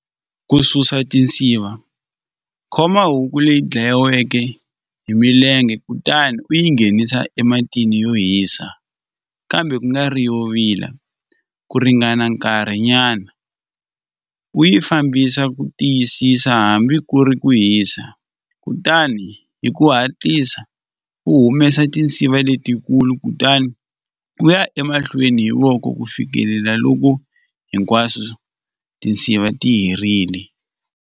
Ku susa tinsiva khoma huku leyi dlayiweke hi milenge kutani u yi nghenisa ematini yo hisa kambe kungari yo vila ku ringana nkarhi nyana u yi fambisa ku tiyisisa hambi ku ri ku hisa kutani hi ku hatlisa u humesa tinsiva letikulu kutani u ya emahlweni hi voko ku fikelela loko hinkwaswo tinsiva ti herile.